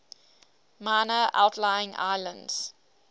minor outlying islands